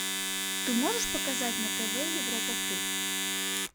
ты можешь показать на тв европа плюс